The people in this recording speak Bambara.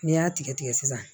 N'i y'a tigɛ tigɛ sisan